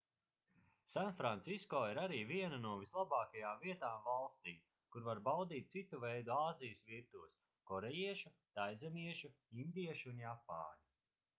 sanfrancisko ir arī viena no vislabākajām vietām valstī kur var baudīt citu veidu āzijas virtuves korejiešu taizemiešu indiešu un japāņu